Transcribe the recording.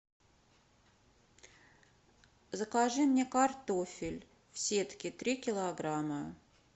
закажи мне картофель в сетке три килограмма